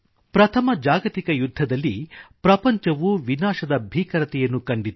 ಪ್ರಥಮ ಜಾಗತಿಕ ಯುದ್ಧದಲ್ಲಿ ಪ್ರಪಂಚವು ವಿನಾಶದ ಭೀಕರತೆಯನ್ನು ಕಂಡಿತು